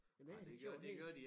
Jamen jeg havde da gjort helt